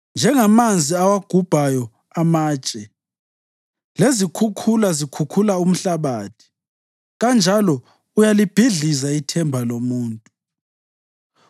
njengamanzi awagubhayo amatshe lezikhukhula zikhukhula umhlabathi, kanjalo uyalibhidliza ithemba lomuntu.